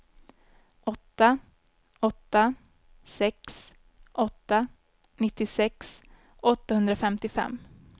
åtta åtta sex åtta nittiosex åttahundrafemtiofem